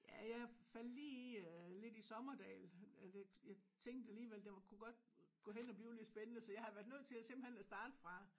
Ja jeg faldt lige i øh lidt i Sommerdahl jeg tænkte alligevel den kunne godt gå hen og blive lidt spændende så jeg har været nødt til simpelthen at starte fra